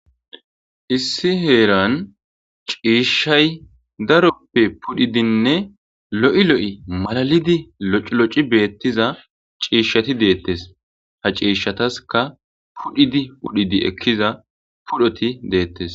Issi heeran ciishshay daroppe pudhidinne lo'i lo'i malalidi lociloci beettiza ciishshati deettes. Ha ciishshataskka pudhidi pudhidi ekkiza pudhoti deettes.